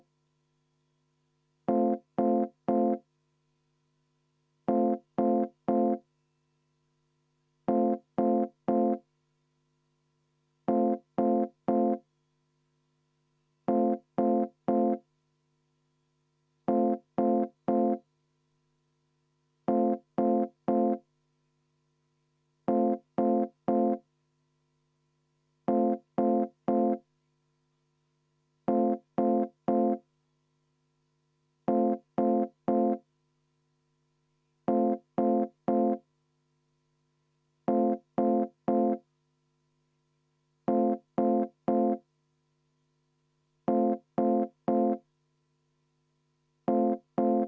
Ma palun Eesti Konservatiivse Rahvaerakonna fraktsiooni nimel hääletada seda ettepanekut ja enne seda palun kümneminutilist vaheaega.